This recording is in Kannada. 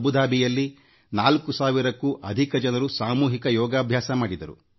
ಅಬುದಾಬಿಯಲ್ಲಿ 4000 ಕ್ಕೂ ಅಧಿಕ ಜನರು ಸಾಮೂಹಿಕ ಯೋಗ ಕಾರ್ಯಕ್ರಮ ನಡೆಸಿದರು